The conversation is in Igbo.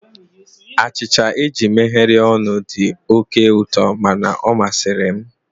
Achịcha eji megharịa ọnụ dị oke ụtọ mana ọ masịrị m.